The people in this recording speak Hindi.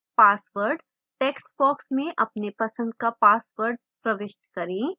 password text box में अपने पसंद का password प्रविष्ट करें